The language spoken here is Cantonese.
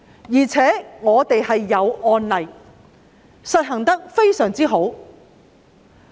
再者，本地有案例，實行得非常好。